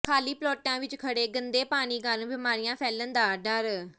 ਖਾਲੀ ਪਲਾਟਾਂ ਵਿੱਚ ਖੜ੍ਹੇ ਗੰਦੇ ਪਾਣੀ ਕਾਰਨ ਬੀਮਾਰੀਆਂ ਫੈਲਣ ਦਾ ਡਰ